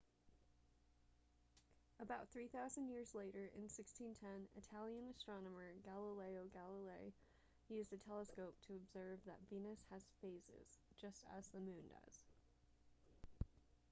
about three thousand years later in 1610 italian astronomer galileo galilei used a telescope to observe that venus has phases just as the moon does